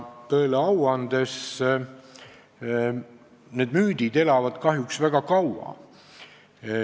Tõele au andes, need müüdid elavad kahjuks väga kaua.